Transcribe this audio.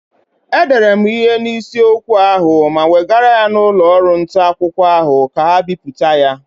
E dere mụ ihe n'isi okwu ahụ ma wegara ya n'ụlọ ọrụ nta akwụkwọ ahụ ka ga bipụta ya.